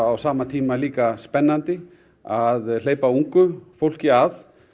á sama tíma líka spennandi að hleypa ungu fólki að